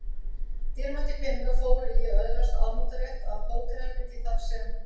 Dýrmætir peningar fóru í að öðlast afnotarétt af hótelherbergi þar sem